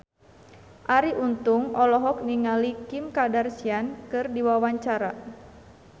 Arie Untung olohok ningali Kim Kardashian keur diwawancara